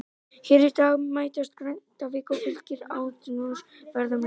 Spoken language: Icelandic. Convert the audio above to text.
Hér í dag mætast Grindavík og Fylkir í athyglisverðum leik.